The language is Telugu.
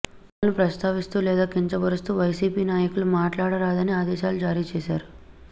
కులాలను ప్రస్తావిస్తూ లేదా కించపరుస్తూ వైసీపీ నాయకులు మాట్లాడరాదని ఆదేశాలు జారీ చేశారు